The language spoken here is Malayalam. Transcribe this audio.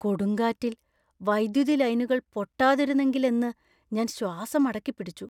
കൊടുങ്കാറ്റിൽ വൈദ്യുതി ലൈനുകൾ പൊട്ടാതിരുന്നെങ്കിലെന്ന് ഞാൻ ശ്വാസം അടക്കിപ്പിടിച്ചു.